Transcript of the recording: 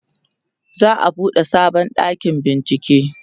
za'a buɗe sabon ɗakin bincike